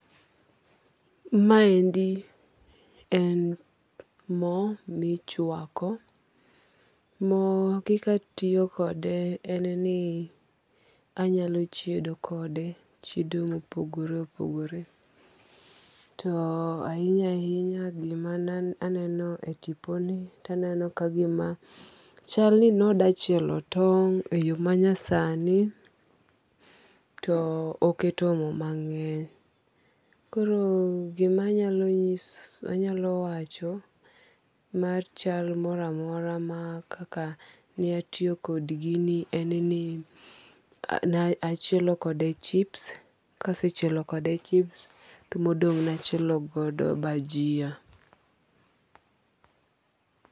Ma endi en mo michwako. Mo kika tiyo kode en ni anyalo chiedo kode, chiedo mopogore opogore. To ahinya ahinya gima aneno e tipo ni to aneno ka gima chal ni noda chielo tong' e yo manyasani to oketo mo mang'eny. Koro gima anyalo wacho mar chal moro amora kaka ne atiyo kod gini en ni ne achielo kode chips. Kase chielo kode chips to modong' ne achielo godo bajia.